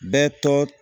Bɛɛ tɔgɔ